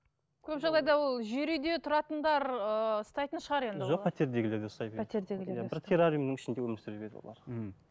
көп жағдайда ол жер үйде тұратындар ыыы ұстайтын шығар енді жоқ пәтердегілерде де ұстай береді пәтертегілер иә бір террариумның ішінде өмір сүре береді олар мхм